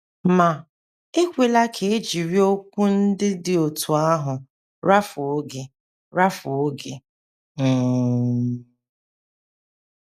Ma, ekwela ka e jiri okwu ndị dị otú ahụ rafuo gị! rafuo gị! um